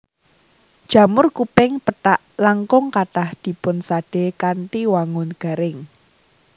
Jamur kuping pethak langkung kathah dipunsadé kanthi wangun garing